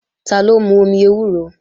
Taló ń mú omi ewúro?